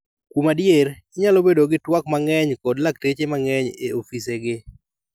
Kuom adier, inyalo bedo gi twak mang'eny kod lakteche mang'eny e ofise gi.